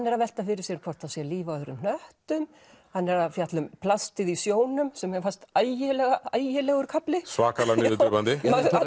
er að velta fyrir sér hvort það sé líf á öðrum hnöttum hann er að fjalla um plastið í sjónum sem mér fannst ægilegur ægilegur kafli svakalega niðurdrepandi